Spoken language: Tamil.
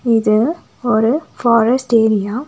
இது ஒரு ஃபாரஸ்ட் ஏரியா .